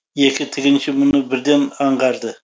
екі тігінші мұны бірден аңғарды